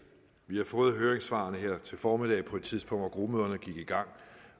vi har fået høringssvarene her til formiddag på et tidspunkt hvor gruppemøderne gik i gang